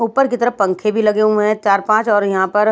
ऊपर की तरफ पंखे भी लगे हुए हैं चार पांच और यहां पर--